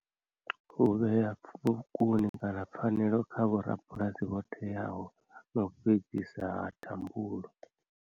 U vhea kana pfhanelo kha vho rabulasi vho teaho na u fhedzisa ha thambulo.